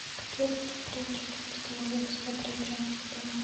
какие достопримечательности можно посмотреть рядом с отелем